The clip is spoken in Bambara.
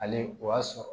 Ale o y'a sɔrɔ